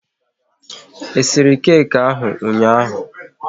E siri keki ahụ ụnyaahụ?